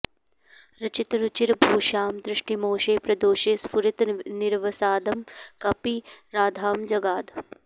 रचितरुचिरभूषां दृष्टिमोषे प्रदोषे स्फुरति निरवसादां कापि राधां जगाद